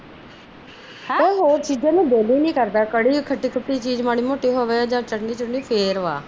ਹੋਰ ਚੀਜ਼ ਦਾ ਦਿਲ ਹੀ ਨੀ ਕਰਦਾ ਕੜੀ ਖੱਟੀ ਖੱਟੀ ਮਾੜੀ ਮੋਟੀ ਚੀਜ਼ ਹੋਵੇ ਚਟਨੀ ਹੋਵੇ ਫੇਰ ਵ